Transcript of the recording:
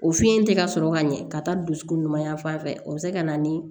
O fiɲɛ tɛ ka sɔrɔ ka ɲɛ ka taa dusukun ɲuman yan fan fɛ o be se ka na ni